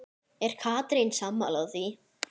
Er Katrín sammála því?